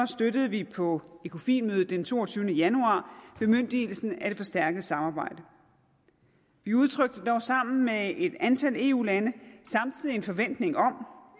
støttede vi på ecofinmødet den toogtyvende januar bemyndigelsen af det forstærkede samarbejde vi udtrykte dog sammen med et antal andre eu lande samtidig en forventning om